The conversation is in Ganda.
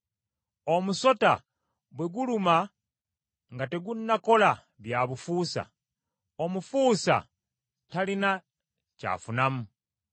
Omusota bwe guluma nga tegunnakola bya bufuusa, omufuusa talina kyafunamu.